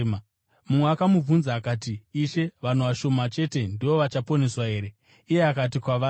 Mumwe akamubvunza akati, “Ishe, vanhu vashoma chete ndivo vachaponeswa here?” Iye akati kwavari,